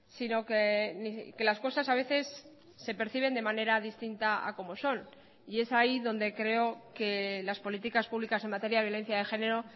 sino que las cosas a veces se perciben de manera distinta a como son y es ahí donde creo que las políticas públicas en materia de violencia de género